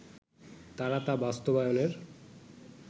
তারা তা বাস্তবায়নের